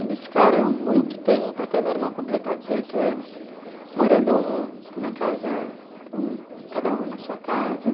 Eles ficaram muito tempo, até meu irmão completar dezoito anos, morando um na casa, cada um na sua casa.